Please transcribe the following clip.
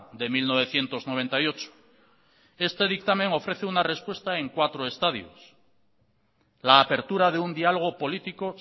de mil novecientos noventa y ocho este dictamen ofrece una respuesta en cuatro estadios la apertura de un diálogo político